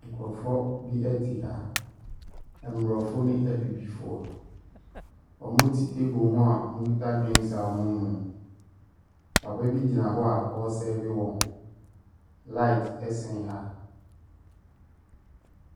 Nkorɔfoɔ bi ɛte ha, mmorɔfo ne abibifoɔ. Ɔmo te teebol ho a ɔmo kita drenks a ɔmoo nom. Papa bi gyina hɔ a ɔɔsɛve wɔn. Laet ɛsɛn ha.